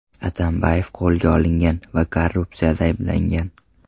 Atambayev qo‘lga olingan va korrupsiyada ayblangan.